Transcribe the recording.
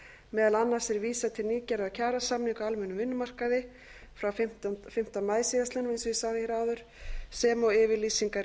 meðal annars er vísað til nýgerðra kjarasamninga á almennum vinnumarkaði frá fimmta maí síðastliðinn sem og yfirlýsingar